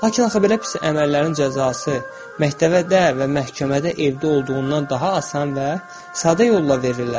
Lakin axı belə pis əməllərin cəzası məktəbdə və məhkəmədə evdə olduğundan daha asan və sadə yolla verirlər.